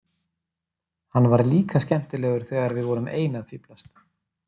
Hann var líka skemmtilegur þegar við vorum ein að fíflast.